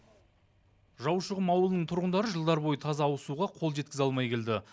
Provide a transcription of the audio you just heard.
жаушықұм ауылының тұрғындары жылдар бойы таза ауызсуға қол жеткізе алмай келді